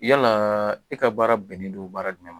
Yala e ka baara bɛnnen don baara jumɛn ma